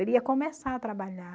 Ele ia começar a trabalhar.